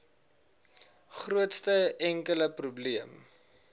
grootste enkele probleem